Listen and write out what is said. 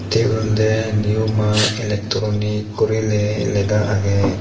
te eben olode new maa electronics gurile le lega agey.